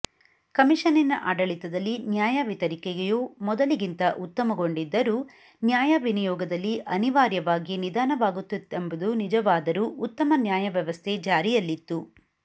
ಕಮಿಷನ್ನಿನ ಆಡಳಿತದಲ್ಲಿ ನ್ಯಾಯ ವಿತರಿಕೆಯು ಮೊದಲಿಗಿಂತ ಉತ್ತಮಗೊಂಡಿದ್ದರೂ ನ್ಯಾಯ ವಿನಿಯೋಗದಲ್ಲಿ ಅನಿವಾರ್ಯವಾಗಿ ನಿಧಾನವಾಗುತ್ತಿತ್ತೆಂಬುದು ನಿಜವಾದರೂ ಉತ್ತಮ ನ್ಯಾಯವ್ಯವಸ್ಥೆ ಜಾರಿಯಲ್ಲಿತ್ತು